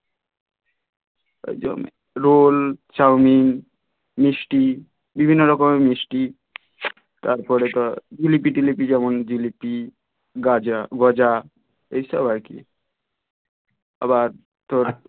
একদম roll chowmein মিস্টি বিভিন্ন রকমের মিষ্টি তারপর জিলিপি টিলাপি যেমন জিলিপি গাজা গজা এইসব আর কি আবার